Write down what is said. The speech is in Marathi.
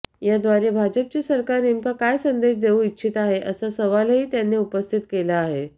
याद्वारे भाजपचे सरकार नेमका काय संदेश देऊ इच्छित आहे असा सवालही त्यांनी उपस्थित केला आहे